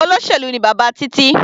Olóṣèlú ni bàbá Títí.